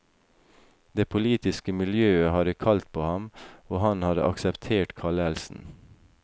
Det politiske miljø hadde kalt på ham, og han hadde akseptert kallelsen.